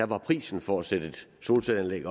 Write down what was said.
var prisen for at sætte et solcelleanlæg